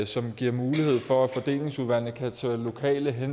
som giver mulighed for at fordelingsudvalgene kan tage lokale